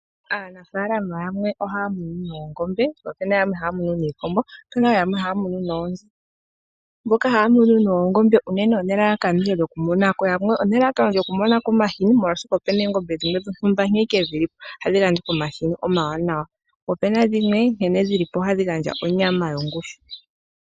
Aanafaalama yamwe ohaya munu oongombe po ope na yamwe haya munu iikombo. Otu na yamwe haya munu oonzi. Mboka haya munu oongombe unene oye na elalakano lyokumona ko omahini, oshoka opu na oongombe dhimwe dhontumba nkene dhi li po ohadhi gandja omahini ogendji, po opu na dhimwe nkene dhi li po ohadhi gandja onyama ontoye.